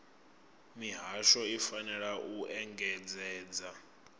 mihasho i fanela u engedzedza